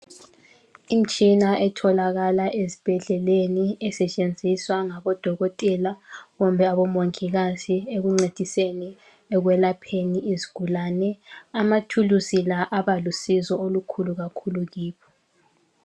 Imitshina etholakala ezibhedleleni esetshenziswa ngabo Dokotela kumbe abo Mongikazi ekuncediseni ekwelapheni izigulane .Amathulusi la abalusizo olokhulu kakhulu kibo.